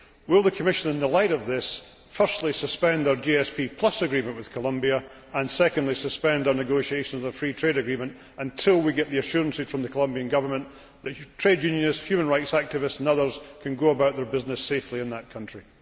Will the Commission, in the light of this, firstly suspend their GSP agreement with Colombia and, secondly, suspend our negotiations for a free trade agreement, until we get the assurances from the Colombian Government that trade unionists, human rights activists and others can go about their business safely in that country?